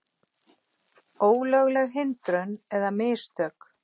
Ólögleg hindrun eða mistök?